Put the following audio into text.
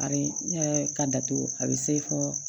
A bɛ ne yɛrɛ ka datugu a bɛ se fɔ